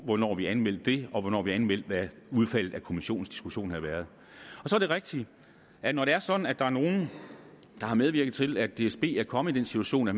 hvornår vi anmeldte det og hvornår vi anmeldte hvad udfaldet af kommissionens diskussion havde været så er det rigtigt at når det er sådan at der er nogle der har medvirket til at dsb er kommet i den situation at